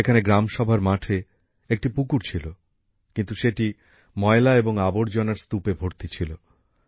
সেখানে গ্রাম সভার মাঠে একটি পুকুর ছিল কিন্তু সেটি ময়লা এবং আবর্জনার স্তুপে ভর্তি ছিল